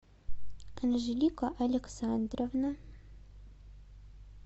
анжелика александровна